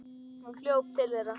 Hún hljóp til þeirra.